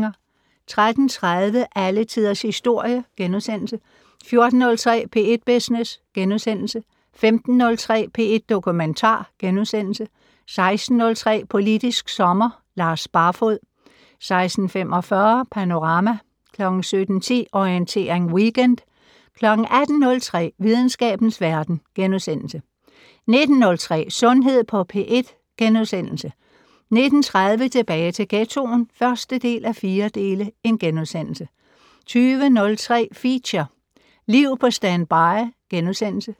13:30: Alle Tiders Historie * 14:03: P1 Business * 15:03: P1 Dokumentar * 16:03: Politisk Sommer: Lars Barfoed 16:45: Panorama 17:10: Orientering Weekend 18:03: Videnskabens Verden * 19:03: Sundhed på P1 * 19:30: Tilbage til ghettoen (1:4)* 20:03: Feature: Liv på standby *